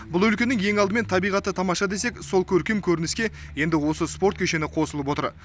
бұл өлкенің ең алдымен табиғаты тамаша десек сол көркем көрініске енді осы спорт кешені қосылып отыр